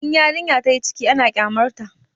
In yarinya tayi ciki ana kyamar ta